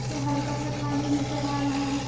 में हल्का सा पानी नजर आ रहा है।